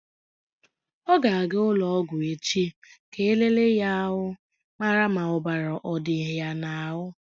Ọ ga-aga ụlọ ọgwụ echi ka e lelee ya ahụ mara ma ọbara ọ dịkwa ya n'ahụ.